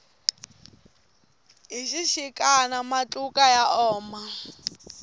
hi xixikana matluka ya oma